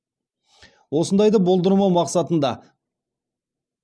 осындайды болдырмау мақсатында